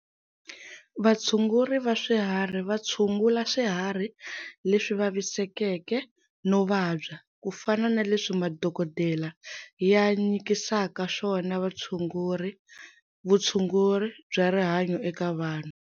Vatshunguri va swiharhi va tshungula swihari leswi vavisekeke no vabya, ku fana na leswi madokodela ya nyikisaka swona vutshunguri bya rihanyo eka vanhu.